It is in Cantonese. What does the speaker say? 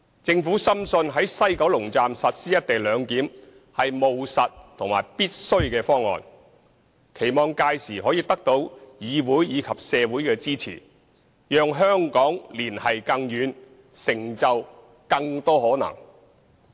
政府深信在西九龍站實施"一地兩檢"是務實和必須的方案，並期望屆時可以得到議會及社會的支持，讓香港連繫更遠，成就更多可能。